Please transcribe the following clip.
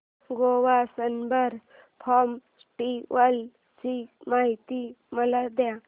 Goa Sunburn festival ची माहिती मला दे